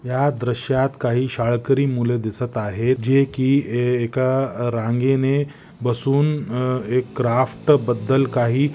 या दृश्यात काही शाळकरी मुल दिसत आहेत जे की ए एका अ रांगेने बसून अह एक क्राफ्ट बद्दल काही--